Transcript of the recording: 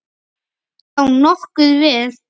Já, nokkuð vel.